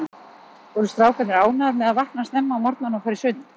Voru strákarnir ánægðir með að vakna snemma á morgnanna og fara í sund?